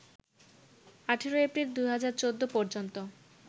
১৮ April ২০১৪ পর্যন্ত